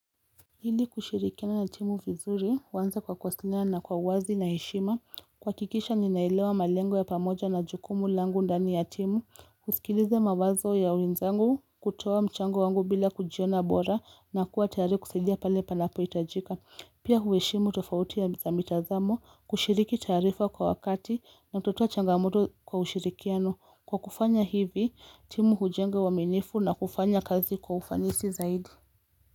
Hili kushirikiana na timu vizuri, wanza kwa kwasina na kwa wazi na heshima, kuhakikisha ninaelewa malengo ya pamoja na jukumu langu ndani ya timu, kuskilizia mawazo ya wenzangu, kutoa mchango wangu bila kujiona bora na kuwa tayari kusidia pale panapo itajika. Pia huheshimu tofautia za mitazamo kushiriki taarifa kwa wakati kututuwa changamoto kwa ushirikiano. Kwa kufanya hivi, timu hujenga uaminifu na kufanya kazi kwa ufanisi zaidi.